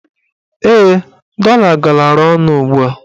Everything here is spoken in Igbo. Ee, dọla galara ọnụ ugbua.